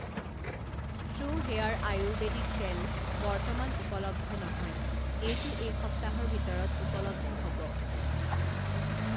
True Hair Ayurvedic তেল বৰ্তমান উপলব্ধ নহয়, এইটো এই সপ্তাহৰ ভিতৰত ঊপলব্ধ হ'ব।